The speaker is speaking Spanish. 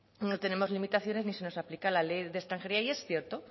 no tenemos limitaciones ni se nos aplica la ley de extranjería y es cierto